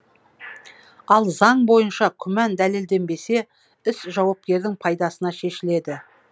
ал заң бойынша күмән дәлелденбесе іс жауапкердің пайдасына шешіледі